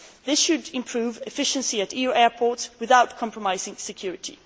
This should improve efficiency at EU airports without compromising security.